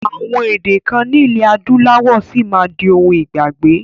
Àwọn èdè kan nilẹ adúláwọ̀ sì máa di òun ìgbàgbé